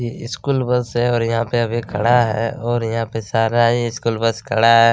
ये school bus है और यहाँ पे अभी खड़ा है और यहाँ पर सारा ही स्कूल बस खड़ा है।